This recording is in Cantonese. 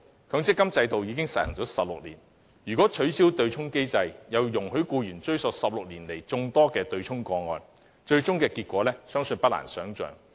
強積金制度已實施了16年，如果取消對沖機制，又容許僱員追討16年來眾多對沖個案的僱主強積金供款，結果相信不難想象。